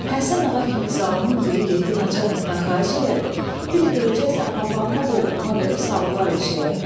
Həsən ağa kimi zalımın biri getdi naçalnikdən xahiş elədi, bir də görəcəksən papaqımı qoltuğuma verib saldılar eşiyə.